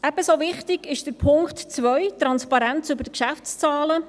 Ebenso wichtig ist Punkt 2: Transparenz über die Geschäftszahlen.